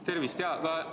Tervist!